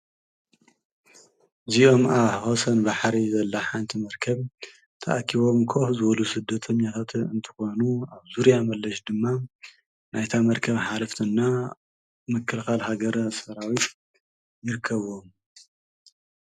እዚኦም ኣብ ወሰን ባሕሪ ዘላ ሓንቲ መርከብ ተኣኪቦም ኮፍ ዝብሉ ስደተኛታት እንትኾኑ ኣብ ዙርያ መለሽ ድማ ናይታ መርከብ ሓለፍቲ እና ምክልኻል ሃገረ ሰራዊት ይርከብዎም።